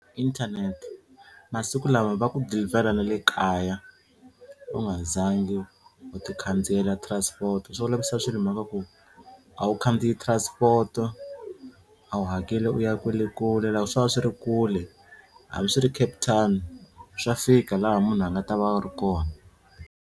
Internet masiku lawa va ku deliver-a na le kaya u nga za ngi u ti khandziyela transport swi olovisa swilo hi mhaka ku a wu khandziya transport-o a wu hakeli u ya kwale kule loko swo va swi ri kule hambi swi ri Cape Town swa fika laha munhu a nga ta va a ri kona.